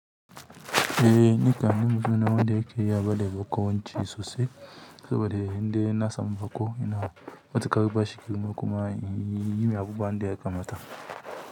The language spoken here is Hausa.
Eh, ni kam ni mutumi ne wanda yake iya bada bakawanci sosai, saboda in dai ina samu baƙo ina matuƙar bashi girma kuma yi mai abubuwan da ya kamata.